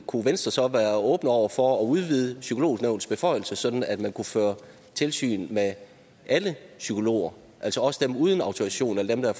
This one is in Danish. kunne venstre så være åbne over for at udvide psykolognævnets beføjelser sådan at man kunne føre tilsyn med alle psykologer altså også dem uden autorisation og dem der